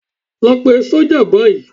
Lọ pe sọ́jà báyìí.